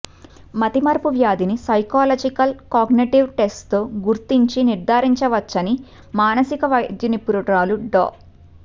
మతిమరుపు వ్యాధిని psychological cognitive టెస్ట్తో గుర్తించి నిర్ధారించవచ్చని మానసిక వైద్యనిపుణురాలు డా